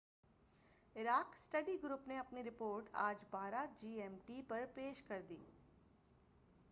Iraq study group نے اپنی report آج 12:00 جی ایم ٹی پر پیش کر دی